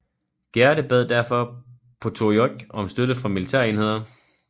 Gerde bad derfor Potiorek om støtte fra militærenheder